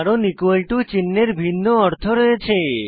কারণ equal to চিন্হের ভিন্ন অর্থ রয়েছে